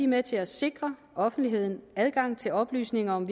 med til at sikre offentligheden adgang til oplysninger om